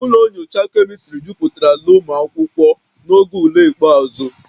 Ụlọ nyocha chemistry jupụtara na ụmụ akwụkwọ n'oge ule ikpeazụ